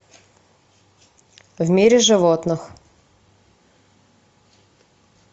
в мире животных